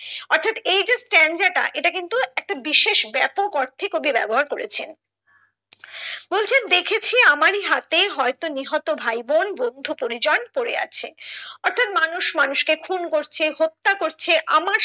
অর্থাৎ এই স্ট্রানজা টা এটা কিন্তু একটা বিশেষ ব্যাপক অর্থে কবি ব্যবহার করেছেন বলছেন দেখেছি আমরি হাতে হয়তো নিহত ভাইবোন বন্ধু পরিজন পড়ে আছে অর্থাৎ মানুষ, মানুষকে খুন করছে হত্যা করছে আমার